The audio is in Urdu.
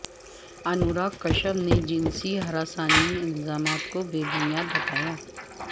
انوراگ کشیپ نے جنسی ہراسانی الزامات کو بے بنیاد بتایا